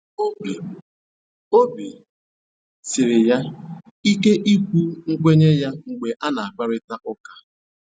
Obi Obi siri ya ike ikwu nkwenye ya mgbe a na akparịta ụka